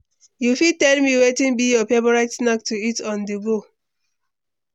You fit tell me wetin be your favorite snacks to eat on-the-go?